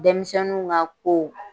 Dɛmisɛnnunw ŋa ko